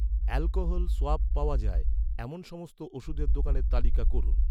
alcohol swab পাওয়া যায়, এমন সমস্ত ওষুধের দোকানের তালিকা করুন